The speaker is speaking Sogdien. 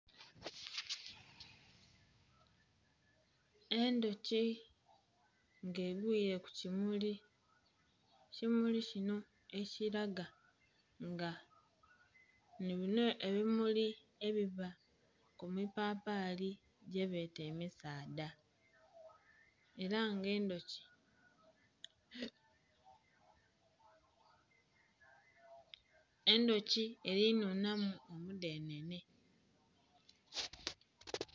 Endhuki nga egwiire kukimuli, ekimuli kinho ekilaga nga nhibinho ebimuli ebiba kumipapali egyebeta emisaadha era nga endhuki erinhunhamu omudhenhenhe.